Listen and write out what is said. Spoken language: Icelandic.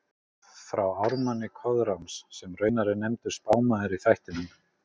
frá ármanni Koðráns, sem raunar er nefndur spámaður í þættinum